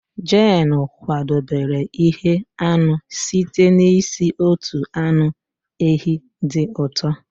Jane kwadebere ite anụ site n'isi otu anụ ehi dị ụtọ